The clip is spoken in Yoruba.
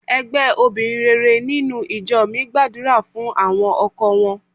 Ẹgbẹ́ obìnrin rere nínú ìjọ mi gbàdúrà fún àwọn ọkọ wọn.